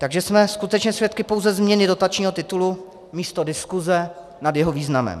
Takže jsme skutečně svědky pouze změny dotačního titulu místo diskuse nad jeho významem.